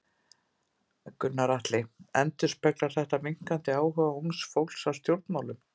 Gunnar Atli: Endurspeglar þetta minnkandi áhuga ungs fólks á stjórnmálum?